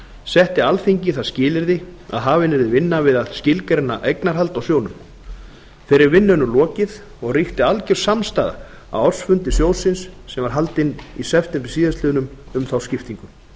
setti alþingi það skilyrði að hafin yrði vinna við að skilgreina eignarhald á sjóðnum þeirri vinnu er nú lokið og ríkti algjör samstaða á ársfundi sjóðsins sem var haldinn í september síðastliðinn um þá skiptingu